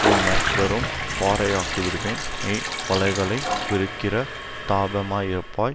உன்னை வெறும் பாறையாக்கிவிடுவேன் நீ வலைகளை விரிக்கிற ஸ்தலமாயிருப்பாய்